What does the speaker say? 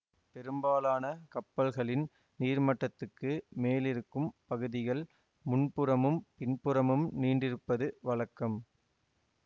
பெரும்பாலான கப்பல்களின் நீர்மட்டத்துக்கு மேலிருக்கும் பகுதிகள் முன்புறமும் பின்புறமும் நீண்டிருப்பது வழக்கம்